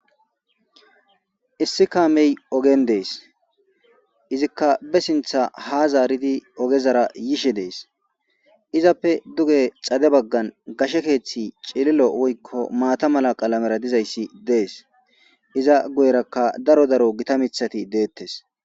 Iss kame ogen dees izzika ba sinththa ha zaridi ogezara yishshe dees izappe duge xadde baggan gashshe keththi cililo woyko maata mala qalmera dizaysi dees iza guyeraka daro githa mitati deetes